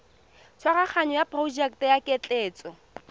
tshwaraganyo ya porojeke ya ketleetso